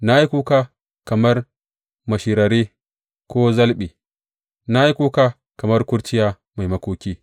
Na yi kuka kamar mashirare ko zalɓe, na yi kuka kamar kurciya mai makoki.